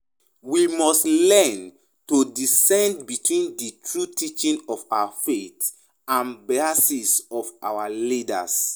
We must learn to discern between di true teachings of our faith and biases of our leaders.